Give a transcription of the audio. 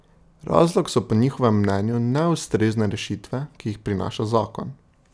Razlog so po njihovem mnenju neustrezne rešitve, ki jih prinaša zakon.